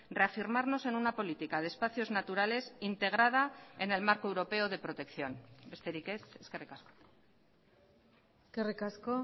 reafirmarnos en una política de espacios naturales integrada en el marco europeo de protección besterik ez eskerrik asko eskerrik asko